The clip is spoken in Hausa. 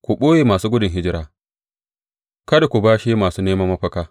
Ku ɓoye masu gudun hijira, kada ku bashe masu neman mafaka.